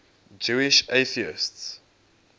jewish atheists